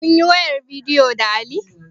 Kunyi wayar bidiyo da Ali?